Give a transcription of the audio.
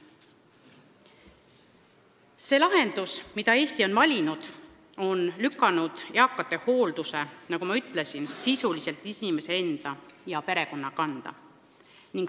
See lahendus, mille Eesti on valinud, on lükanud eakate hoolduse, nagu ma ütlesin, sisuliselt inimese enda ja tema perekonna kanda.